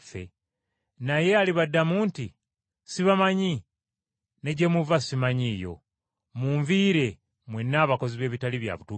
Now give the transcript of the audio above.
Naye alibaddamu nti, ‘Sibamanyi, ne gye muva simanyiiyo. Munviire mwenna abakozi b’ebitali bya bituukirivu.’